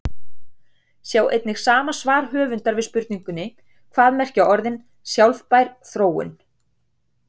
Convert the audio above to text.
Sjá einnig svar sama höfundar við spurningunni Hvað merkja orðin sjálfbær þróun?